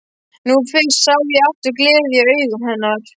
Nú fyrst sá ég aftur gleði í augum hennar.